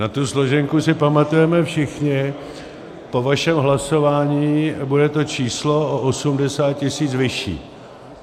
Na tu složenku si pamatujeme všichni, po vašem hlasování bude to číslo o 80 tisíc vyšší.